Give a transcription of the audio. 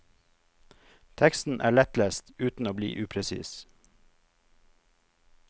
Teksten er lettlest uten å bli upresis.